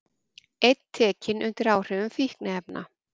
Einn tekinn undir áhrifum fíkniefna